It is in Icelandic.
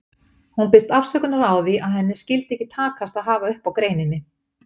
Hún biðst afsökunar á því að henni skyldi ekki takast að hafa upp á greininni.